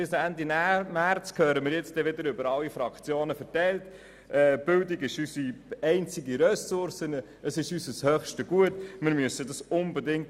Bis Ende März werden wir wieder von allen Fraktionen hören, dass die Bildung unsere einzige Ressource und unser höchstes Gut sei.